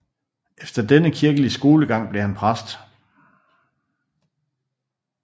Efter denne kirkelige skolegang blev han præst